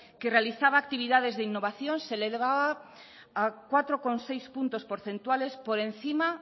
que realizaba actividades de innovación se le daba a cuatro coma seis puntos porcentuales por encima